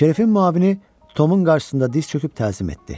Şerifin müavini Tomun qarşısında diz çöküb təzim etdi.